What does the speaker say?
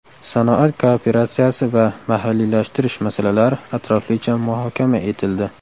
Sanoat kooperatsiyasi va mahalliylashtirish masalalari atroflicha muhokama etildi.